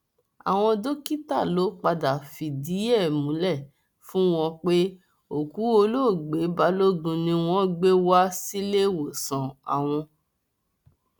àwọn dókítà ló padà fìdí ẹ múlẹ fún wọn pé òkú olóògbé balógun ni wọn gbé wá síléèwòsàn àwọn